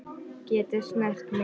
Geta snert mig.